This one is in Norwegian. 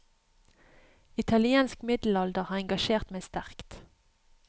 Italiensk midddelalder har engasjert meg sterkt.